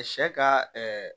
Sɛ ka